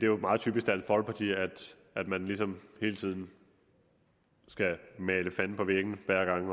jo meget typisk dansk folkeparti at at man ligesom hele tiden skal male fanden på væggen